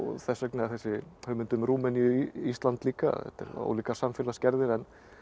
þess vegna er þessi hugmynd um Rúmeníu Ísland líka þetta eru ólíkar samfélagsgerðir en